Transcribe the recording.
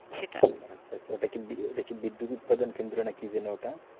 ওটা কি বিদ্যুৎ উৎপাদন কেন্দ্র নাকি?